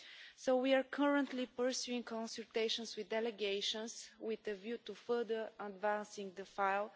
So we are currently pursuing consultations with delegations with a view to further advancing the file.